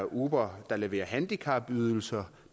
uber leverer handicapydelser